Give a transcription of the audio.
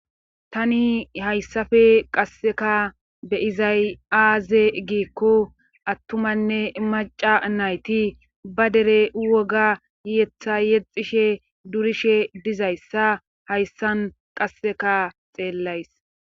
Tani hayssafe qasseka be izay7aaze giikko attumanne maca nayti ba dere woga yiyetha yexishe durishe dizayssa hayssan qasseka xeellays.